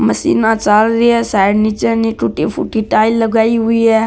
मशीना चाल रही है साइड निचे टुट्टी फुट्टी टाइल लगाई हुई है।